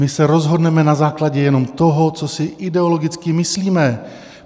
My se rozhodneme na základě jenom toho, co si ideologicky myslíme.